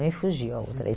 Me fugiu a outra.